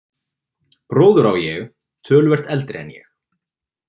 Bróður á ég, töluvert eldri en ég.